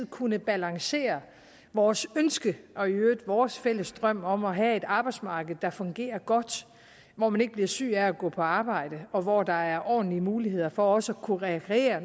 kunne balancere vores ønske og i øvrigt vores fælles drøm om at have et arbejdsmarked der fungerer godt hvor man ikke bliver syg af at gå på arbejde og hvor der er ordentlige muligheder for også at kunne rekreere